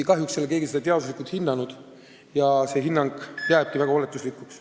Kahjuks ei ole keegi seda teaduslikult hinnanud, see hinnang jääb väga oletuslikuks.